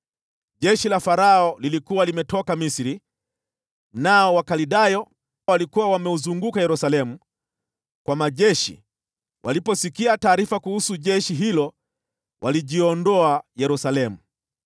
Jeshi la Farao lilikuwa limetoka Misri, nao Wakaldayo waliokuwa wameuzunguka Yerusalemu kwa majeshi waliposikia taarifa kuhusu jeshi hilo walijiondoa Yerusalemu.